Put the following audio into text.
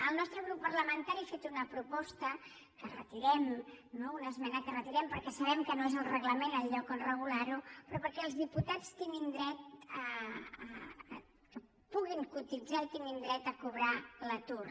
el nostre grup parlamentari ha fet una proposta que retirem no una esmena que retirem perquè sabem que no és el reglament el lloc on regularho però perquè els diputats puguin cotitzar i tinguin dret a cobrar l’atur